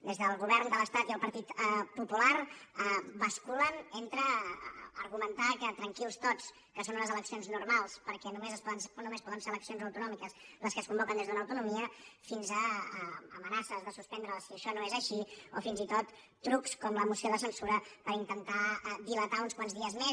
des del govern de l’estat i el partit popular basculen des d’argumentar que tranquils tots que són unes eleccions normals perquè només poden ser eleccions autonòmiques les que es convoquen des d’una autonomia fins a amenaces de suspendre la si això no és així o fins i tot trucs com la moció de censura per intentar dilatar uns quants dies més